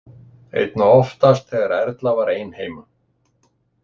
Einna oftast þegar Erla var ein heima.